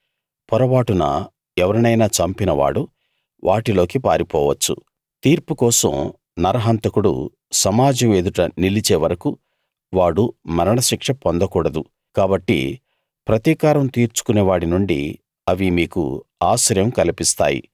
పొరబాటున ఎవరినైనా చంపినవాడు వాటిలోకి పారిపోవచ్చు తీర్పు కోసం నరహంతకుడు సమాజం ఎదుట నిలిచే వరకూ వాడు మరణశిక్ష పొందకూడదు కాబట్టి ప్రతికారం తీర్చుకునేవాడి నుండి అవి మీకు ఆశ్రయం కల్పిస్తాయి